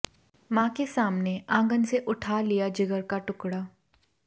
मां के सामने आंगन से उठा लिया जिगर का टुकड़ा